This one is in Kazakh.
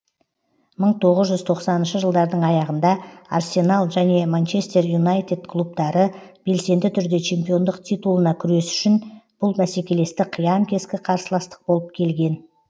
мың тоғыз жүз тоқсаныншы жылдардың аяғында арсенал және манчестер юнайтед клубтары белсенді түрде чемпиондық титулына күрес үшін бұл бәсекелестік қиян кескі қарсыластық болып келген